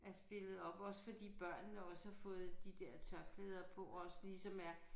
Er stillet op også fordi børnene også har fået de der tørklæder på også ligesom er